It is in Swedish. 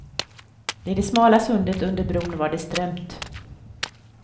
I det smala sundet under bron var det strömt.